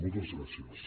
moltes gràcies